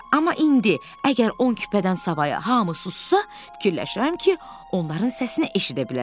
Amma indi, əgər 12 küpədən savayı hamı sussa, fikirləşirəm ki, onların səsini eşidə bilərəm.